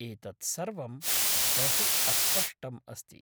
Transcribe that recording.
एतत् सर्वं बहु अस्पष्टम् अस्ति।